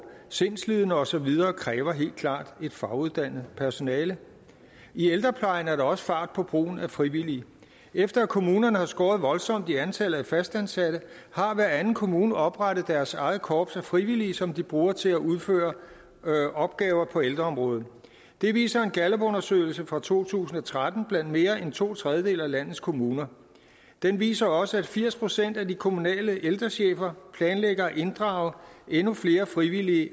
sindslidende og så videre kræver helt klart et faguddannet personale i ældreplejen er der også fart på brugen af frivillige efter at kommunerne har skåret voldsomt i antallet af fastansatte har hver anden kommune oprettet deres eget korps af frivillige som de bruger til at udføre opgaver på ældreområdet det viser en gallupundersøgelse fra to tusind og tretten blandt mere end to tredjedele af landets kommuner den viser også at firs procent af de kommunale ældrechefer planlægger at inddrage endnu flere frivillige